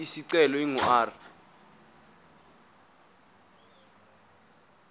isicelo ingu r